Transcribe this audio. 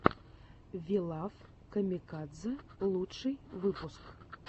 ви лав камикадзе лучший выпуск